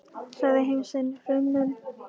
Sagði heim sinn hruninn.